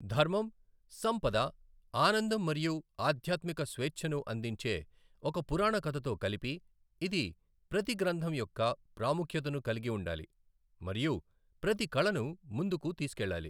ధర్మం, సంపద, ఆనందం మరియు ఆధ్యాత్మిక స్వేచ్ఛను అందించే ఒక పురాణ కథతో కలిపి, ఇది ప్రతి గ్రంథం యొక్క ప్రాముఖ్యతను కలిగి ఉండాలి మరియు ప్రతి కళను ముందుకు తీసుకెళ్లాలి.